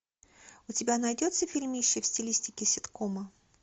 у тебя найдется фильмище в стилистике ситкома